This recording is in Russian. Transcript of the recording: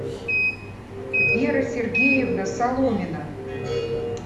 вера сергеевна соломина